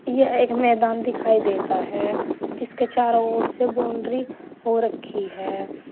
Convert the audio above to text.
यह एक मैदान दिखाई देता है जिसके चारों ओर से बाउंड्री हो रखी है।